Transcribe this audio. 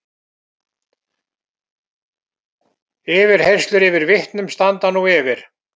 Yfirheyrslur yfir vitnum standa nú yfir